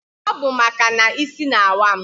Ọ bụ maka na isi n'awa m